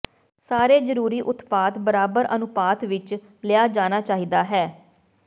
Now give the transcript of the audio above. ਸਾਰੇ ਜ਼ਰੂਰੀ ਉਤਪਾਦ ਬਰਾਬਰ ਅਨੁਪਾਤ ਵਿੱਚ ਲਿਆ ਜਾਣਾ ਚਾਹੀਦਾ ਹੈ